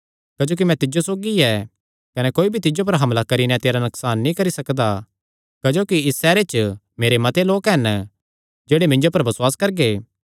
क्जोकि मैं तिज्जो सौगी ऐ कने कोई भी तिज्जो पर हमला करी नैं तेरा नकसान नीं करी सकदा क्जोकि इस सैहरे च मेरे मते लोक हन जेह्ड़े मिन्जो पर बसुआस करगे